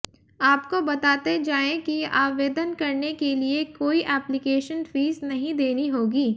आपको बताते जाए कि आवेदन करने के लिए कोई एप्लीकेशन फीस नहीं देनी होगी